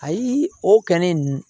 Ayi o kɛ ne nun